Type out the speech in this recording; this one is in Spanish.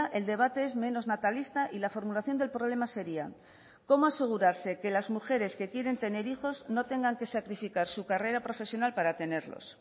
el debate es menos natalista y la formulación del problema sería cómo asegurarse que las mujeres que quieren tener hijos no tengan que sacrificar su carrera profesional para tenerlos